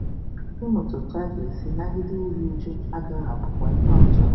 Ịmụta otú a ga-esi nagide iru újú agaghị abụkwa ihe ọzọ.